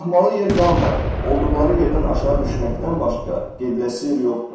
Qalxmalı yer qalmayıb, olduqları yerdən aşağı düşməkdən başqa gediləsi yer yoxdur.